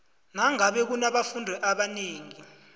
nangabe kunabafundi abanengi